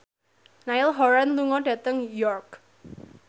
Niall Horran lunga dhateng York